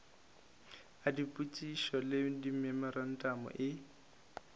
a dipotšišo le dimemorantamo e